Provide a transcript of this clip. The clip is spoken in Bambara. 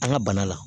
An ka bana la